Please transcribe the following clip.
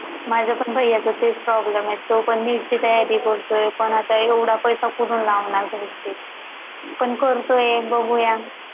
माझ्या पण भैय्या चा तेच problem आहे तो पण neet ची तयारी करतोय पण आता एवढा पैसे कुठून लावणार पण करतोय बघूया